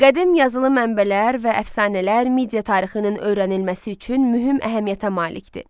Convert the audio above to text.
Qədim yazılı mənbələr və əfsanələr Midiya tarixinin öyrənilməsi üçün mühüm əhəmiyyətə malikdir.